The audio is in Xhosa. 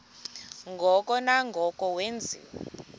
ngoko nangoko wenziwa